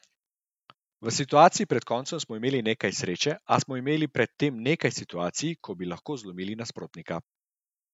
V situaciji pred koncem smo imeli nekaj sreče, a smo imeli pred tem nekaj situacij, ko bi lahko zlomili nasprotnika.